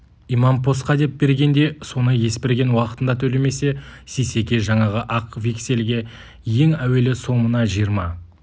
имампосқа деп бергенде соны есберген уақытында төлемесе сейсеке жаңағы ақ вексельге ең әуелі сомына жиырма